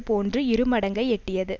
போன்று இரு மடங்கை எட்டியது